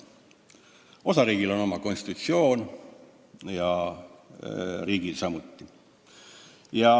Osariigil on oma konstitutsioon ja riigil samuti.